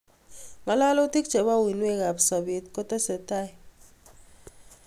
Ngololutik chebo uinwek ab sobet kotesetai